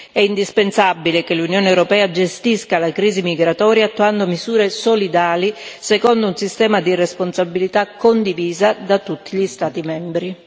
È indispensabile che l'Unione europea gestisca la crisi migratoria attuando misure solidali secondo un sistema di responsabilità condivisa da tutti gli Stati membri.